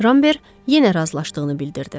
Rambert yenə razılaşdığını bildirdi.